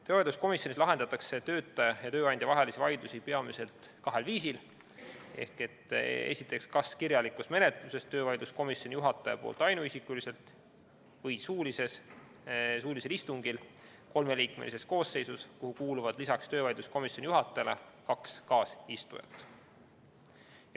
Töövaidluskomisjonis lahendatakse töötaja ja tööandja vahelisi vaidlusi peamiselt kahel viisil: kas kirjalikus menetluses töövaidluskomisjoni juhataja poolt ainuisikuliselt või suulisel istungil kolmeliikmelises koosseisus, kuhu kuuluvad lisaks töövaidluskomisjoni juhatajale kaks kaasistujat.